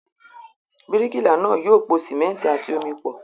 Bíríkìlà náà yóò po sìmẹ́ńtì àti omi pọ̀.